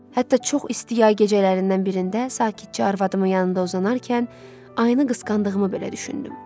Hətta çox isti yay gecələrindən birində sakitcə arvadımın yanında uzanarkən ayıını qısqandığımı belə düşündüm.